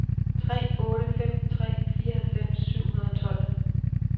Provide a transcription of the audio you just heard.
tre otte fem tre fireoghalvfems syv hundrede og tolv